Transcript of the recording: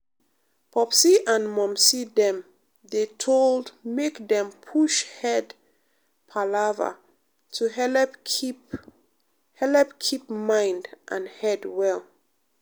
popsi and momsi dem dey told make dem push head palava to helep keep helep keep mind and head well.